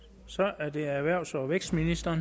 så er det erhvervs og vækstministeren